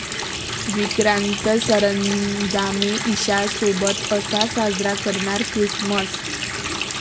विक्रांत सरंजामे ईशासोबत 'असा' साजरा करणार ख्रिसमस